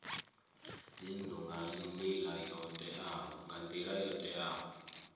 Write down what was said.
dzinnu nga nila yo teaho